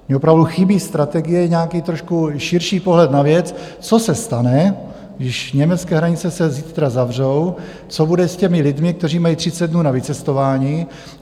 Mně opravdu chybí strategie, nějaký trošku širší pohled na věc, co se stane, když německé hranice se zítra zavřou, co bude s těmi lidmi, kteří mají 30 dnů na vycestování?